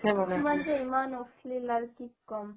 ইমান অশ্লীল আৰ কি কম